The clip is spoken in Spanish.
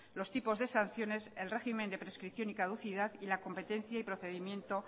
los tipos de sanciones el régimen de prescripción y caducidad y la competencia y procedimiento